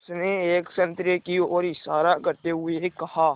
उसने एक संतरे की ओर इशारा करते हुए कहा